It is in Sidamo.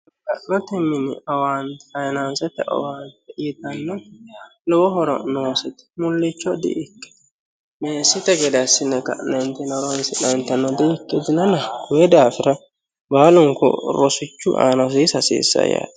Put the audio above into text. Ama'note mini faayinansete owaante ytanoti lowo horo noosete mulicho di'ikkitinote meessite geda assine ka'nentino horonsi'nannitano di'ikkitino koyi daafira baallu rosichu aana hosiisa hasiisanonke.